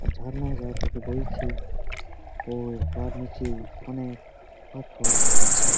আর ঝর্ণা যা থেকে বইছে ওর তার নিচে অনেক পাথর আছে।